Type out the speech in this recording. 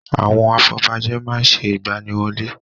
Àwọn afọbajẹ má ń ṣe ìgbaniwọlé.